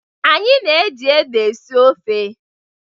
Anyị na-eji ede esi ofe.